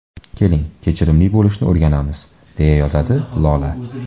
Keling, kechirimli bo‘lishni o‘rganamiz...” – deya yozdi Lola.